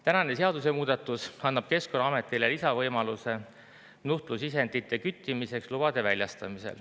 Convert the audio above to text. Tänane seadusemuudatus annab Keskkonnaametile lisavõimaluse nuhtlusisendite küttimiseks lube väljastada.